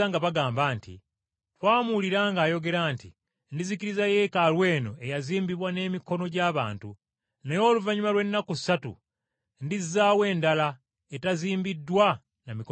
“Twamuwulira ng’ayogera nti, ‘Ndizikiriza Yeekaalu eno eyazimbibwa n’emikono gy’abantu, naye oluvannyuma lw’ennaku ssatu ndizzaawo endala etazimbiddwa na mikono gy’abantu.’ ”